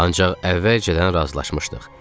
Ancaq əvvəlcədən razılaşmışdıq.